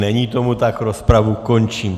Není tomu tak, rozpravu končím.